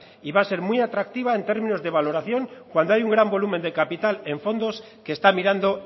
y va a ser muy atractiva en términos de valoración cuando hay un gran volumen de capital en fondos que está mirando